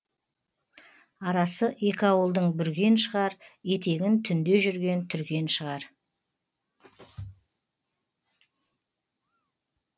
арасы екі ауылдың бүрген шығар етегін түнде жүрген түрген шығар